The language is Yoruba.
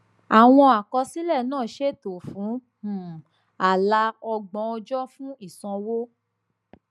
àwọn àkọsílẹ náà ṣètò fún um ààlà ọgbọn ọjọ fún ìsanwó